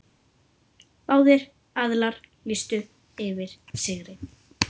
Báðir aðilar lýstu yfir sigri.